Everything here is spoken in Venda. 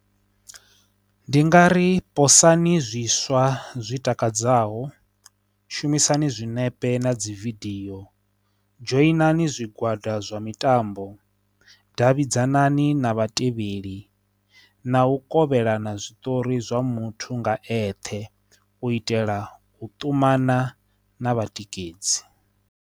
Ndi nga ri posani zwiswa zwi takadzaho, shumisani zwinepe na dzividio, dzhoina hani zwigwada zwa mitambo, davhidzani na vhatevheli na u kovhelana zwiṱori zwa muthu nga eṱhe u itela u ṱumana na vhatikedzi.